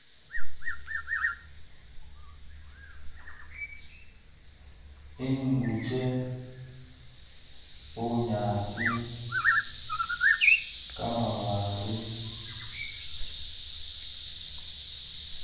Inguche, bunyaasi, kamabaale